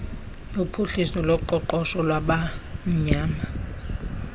yophuhliso loqoqosho lwabamnyama